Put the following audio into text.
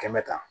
Kɛmɛ ta